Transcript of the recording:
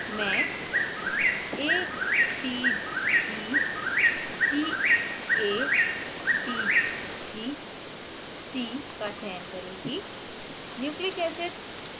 प्रदर्शन के लिए मैं a t g c a t g c का चयन करुँगी